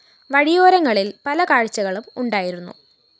വഴിയോരങ്ങളില്‍ പല കാഴ്ചകളും ഉണ്ടായിരുന്നു